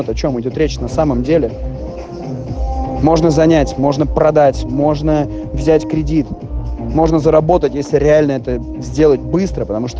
от о чём идёт речь на самом деле можно занять можно продать можно взять кредит можно заработать если реально это сделать быстро потому что